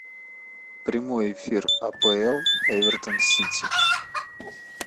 прямой эфир апл эвертон сити